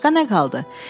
Başqa nə qaldı?